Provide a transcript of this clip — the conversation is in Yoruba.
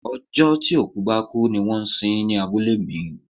Ọjọ́ tí òkú bá kú ní wón ń sin ń ní abúlé mi.